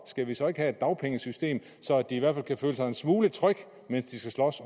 skal vi så ikke have et dagpengesystem så de i hvert fald kan føle sig en smule trygge mens de skal slås